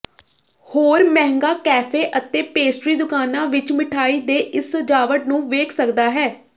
ਹੋਰ ਮਹਿੰਗਾ ਕੈਫ਼ੇ ਅਤੇ ਪੇਸਟਰੀ ਦੁਕਾਨਾ ਵਿੱਚ ਮਿਠਾਈ ਦੇ ਇਸ ਸਜਾਵਟ ਨੂੰ ਵੇਖ ਸਕਦਾ ਹੈ